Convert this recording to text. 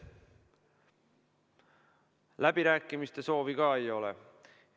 Läbirääkimiste soovi ka ei ole.